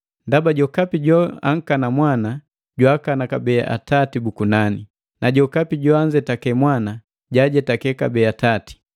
Ndaba jokapi joankana Mwana, jwaakana kabee Atati bu kunani; na jokapi joanzetake Mwana, jaajetake kabee Atati.